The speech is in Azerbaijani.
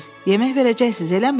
Yemək verəcəksiz, eləmi?